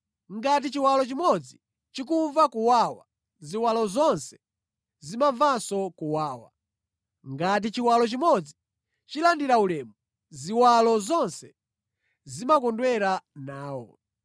Ngati chiwalo chimodzi chikumva kuwawa, ziwalo zonse zimamvanso kuwawa. Ngati chiwalo chimodzi chilandira ulemu, ziwalo zonse zimakondwera nawo.